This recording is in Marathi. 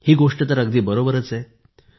ही गोष्ट तर अगदी बरोबर आहे